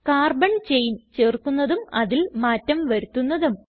carbon chain ചേർക്കുന്നതും അതിൽ മാറ്റം വരുത്തുന്നതും